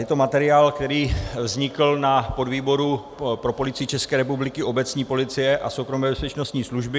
Je to materiál, který vznikl na podvýboru pro Policii České republiky, obecní policie a soukromé bezpečnostní služby.